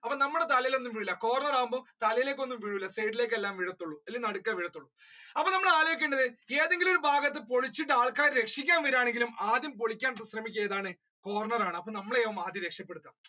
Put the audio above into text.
അപ്പൊ നമ്മടെ തലയിൽ ഒന്നും വീഴൂല corner ആവുമ്പൊ തലേലെക്ക് ഒന്നും വീഴൂല side ലേക്കേ എല്ലാം വീഴത്തോള്ളൂ അല്ലെങ്കി നടുക്കെ വീഴത്തോള്ളു അപ്പൊ നമ്മൾ ആലോയിക്കേണ്ടത് ഏതെൻകിലും ഒരു ഭാഗത്ത് പൊളിച്ചിട്ട് ആൾക്കാരെ രക്ഷിക്കാൻ വരാണെങ്കിലും ആദ്യം പൊളിക്കാൻശ്രമിക്കാ ഏതാണ് corner അപ്പൊ നമ്മളെ ആവും ആദ്യം രക്ഷപ്പെടുത്താ